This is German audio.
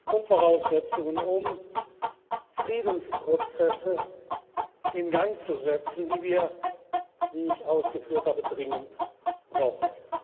sind Grundvoraussetzungen, um Friedensprozesse in Gang zu setzen, die wir, wie ich ausgeführt habe, dringend brauchen.